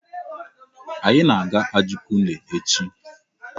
Anyị na-aga Ajugunle echi.